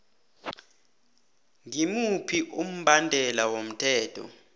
ngimuphi umbandela womthetho